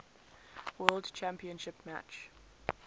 world championship match